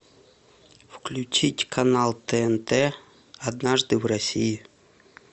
включить канал тнт однажды в россии